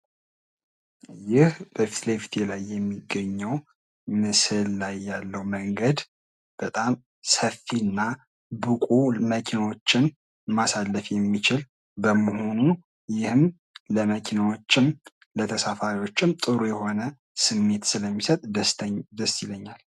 ይህ በፊት ለፊቴ ላይ የሚገኘው ምስል ላይ ያለው መንገድ በጣም ሰፊና ብቁ መኪኖችን ማሳለፍ የሚችል በመሆኑ ይህም ለመኪናዎችም ለተሳፋሪዎችም ጥሩ የሆነ ስሜት ስለሚሰጥ ደስ ይለኛል።